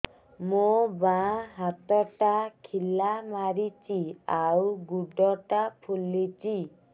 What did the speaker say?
ମୋ ବାଆଁ ହାତଟା ଖିଲା ମାରୁଚି ଆଉ ଗୁଡ଼ ଟା ଫୁଲୁଚି